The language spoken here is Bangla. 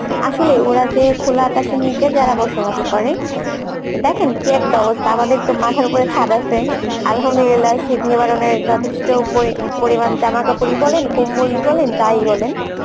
আসলে ওরা যে খোলা আকাশের নিচে যারা বসবাস করে দেখেন কি একটা অবস্থা আমাদের একটা মাথার ওপরে ছাদ আসে Arbi শীত নিবারণের যথেষ্ঠ পরিমানে জামাকাপড়ই বলেন কম্বলই বলেন যাই বলেন